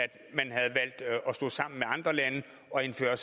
stå sammen med andre lande og indføre